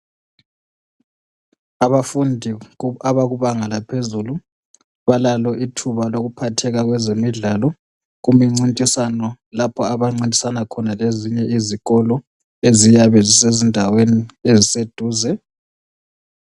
abafundi abakubanga laphezulu balalo ithuba lokuphatheka kwezemidlalo kumicintiswano lapho abancintisana khona lezinye izikolo eziyabe zisezindaweni eziseduze